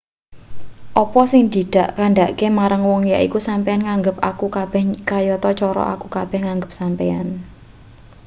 apa sing dak kandhakake marang wong yaiku sampeyan nganggep aku kabeh kayata cara aku kabeh nganggep sampeyan